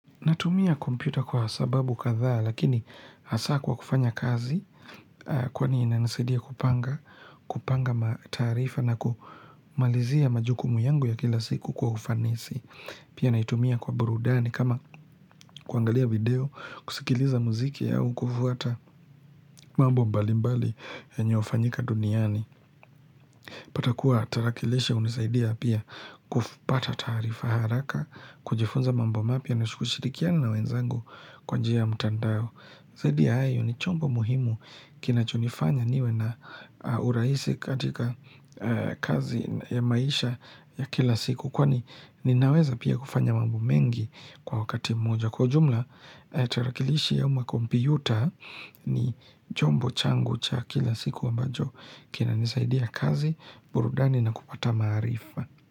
Natumia kompyuta kwa sababu kadhaa lakini hasaa kwa kufanya kazi kwani inanisaidia kupanga, kupanga taarifa na kumalizia majukumu yangu ya kila siku kwa ufanisi. Pia naitumia kwa burudani kama kuangalia video, kusikiliza muziki au kufuata mambo mbalimbali yenye hufanyika duniani. Unapata kuwa tarakilishi hunisaidia pia kupata taarifa haraka, kujifunza mambo mapya na kushirikiani na wenzangu kwa njia ya mtandao. Zaidi ya hayo ni chombo muhimu kinachonifanya niwe na urahisi katika kazi ya maisha ya kila siku. Kwani ninaweza pia kufanya mambo mengi kwa wakati mmoja. Kwa jumla, tarakilishi am kompyuta ni chombo changu cha kila siku ambacho kinanisaidia kazi burudani na kupata maarifa.